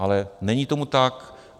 Ale není tomu tak.